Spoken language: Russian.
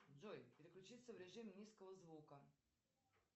джой переключиться в режим низкого звука